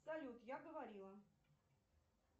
салют я говорила